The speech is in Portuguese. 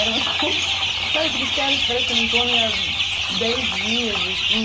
Era uma coisa... Sabe aqueles caras que parecem que não comem há dez dias, assim?